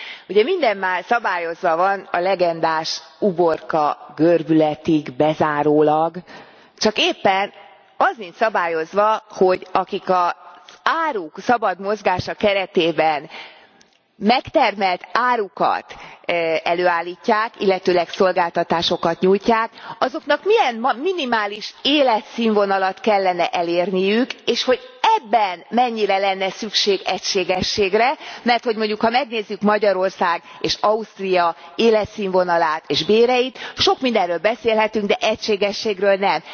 Ugye minden már szabályozva van, a legendás uborka görbületig bezárólag, csak éppen az nincs szabályozva, hogy akik az áruk szabad mozgása keretében megtermelt árukat előállítják, illetőleg a szolgáltatásokat nyújtják, azoknak milyen minimális életszínvonalat kellene elérniük, és hogy ebben mennyire lenne szükség egységességre, merthogy, mondjuk, ha megnézzük Magyarország és Ausztria életszínvonalát és béreit, sok mindenről beszélhetünk, de egységességről nem.